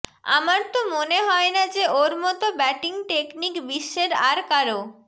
আমার তো মনে হয় না যে ওর মতো ব্যাটিং টেকনিক বিশ্বের আর কারও